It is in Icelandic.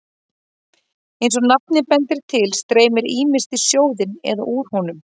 Eins og nafnið bendir til streymir ýmist í sjóðinn eða úr honum.